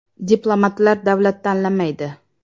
“Diplomatlar davlat tanlamaydi.